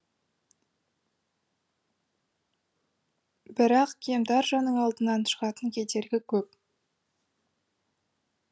бірақ кемтар жанның алдынан шығатын кедергі көп